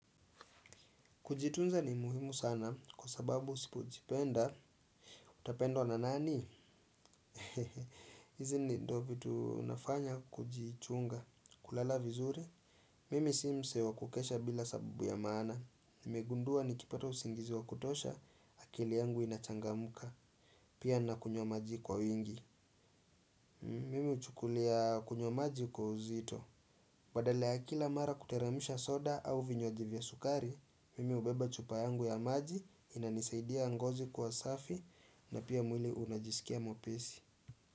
Kujitunza ni muhimu sana kwa sababu usipojipenda. Utapendwa na nani? Hizi ni ndo vitu nafanya kujichunga. Kulala vizuri. Mimi si mse wa kukesha bila sababu ya maana. Nimegundua nikipata usingizi wa kutosha akili yangu inachangamka. Pia na kunywa maji kwa wingi. Mimi huchukulia kunywa maji kwa uzito. Badala ya kila mara kuteremsha soda au vinywaji vya sukari, mimi hubeba chupa yangu ya maji inanisaidia ngozi kuwa safi na pia mwili unajisikia mwepesi.